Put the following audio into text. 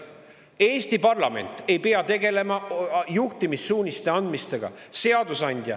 Eesti parlament ei pea tegelema juhtimissuuniste andmisega.